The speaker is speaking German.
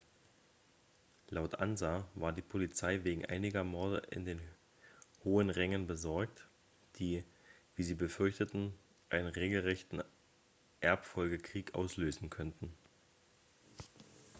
laut ansa war die polizei wegen einiger morde in den hohen rängen besorgt die wie sie befürchteten einen regelrechten erbfolgekrieg auslösen könnten